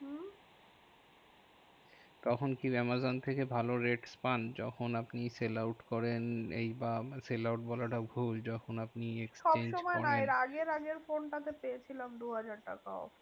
তখন কি আমাজন থেকে ভালো rate পান যখন আপনি sell out করেন? এই বা sell out বলাটা ভুল, যখন আপনি exchange করেন। সবসময় নয় এর আগের আগের ফোনটাতে পেয়েছিলাম দুহাজার টাকা off.